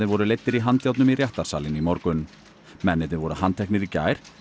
voru leiddir í handjárnum í réttarsalinn í morgun mennirnir voru handteknir í gær